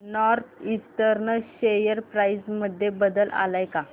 north eastern share price मध्ये बदल आलाय का